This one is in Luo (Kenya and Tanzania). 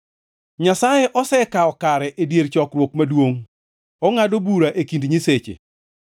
Nyasaye osekawo kare e dier chokruok maduongʼ, ongʼado bura e kind “nyiseche.”